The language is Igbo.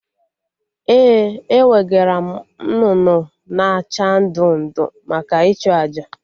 Ee, ewegaram nnụnụ na acha ndụ ndụ maka ịchụ àjà